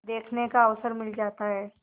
देखने का अवसर मिल जाता है